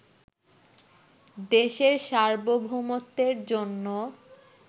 দেশের সার্বভৌমত্বের জন্যও